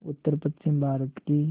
उत्तरपश्चिमी भारत की